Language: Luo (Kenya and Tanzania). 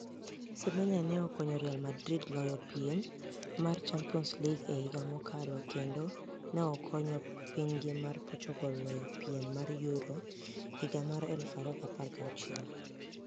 Semeniya ni e okoniyo Real Madrid loyo piem mar Championis League e higa mokalo kenido ni e okoniyo piniygi ma Portugal loyo piem mar Euro 2016.